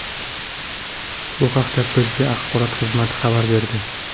Bu haqda birja axborot xizmati xabar berdi .